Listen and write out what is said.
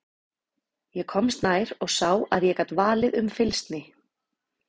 Ég komst nær og sá að ég gat valið um fylgsni.